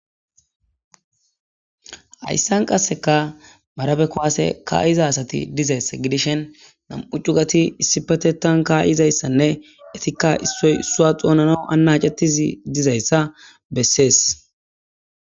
Haysan qaseka marabe kuwase ka'za asat dizaysa gidishn 2 cugat issipetetan ka'zaydanne issoy isuwa xonanaw anacetiz dizaysa beses.